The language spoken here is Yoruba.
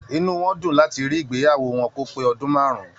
Inú wọn dùn láti rí ìgbéyàwó wọn kò pé ọdún máàrún.